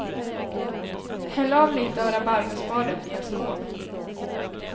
Häll av lite av rabarberspadet i en skål.